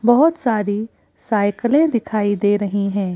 बहुत सारी साइकिलें दिखाई दे रही हैं।